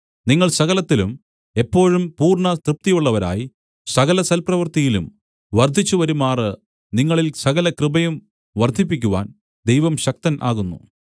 നിങ്ങൾ സകലത്തിലും എപ്പോഴും പൂർണ്ണതൃപ്തിയുള്ളവരായി സകല സൽപ്രവൃത്തിയിലും വർദ്ധിച്ചു വരുമാറ് നിങ്ങളിൽ സകലകൃപയും വർദ്ധിപ്പിക്കുവാൻ ദൈവം ശക്തൻ ആകുന്നു